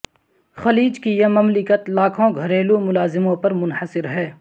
خلیج کی یہ مملکت لاکھوں گھریلو ملازموں پر منحصر ہے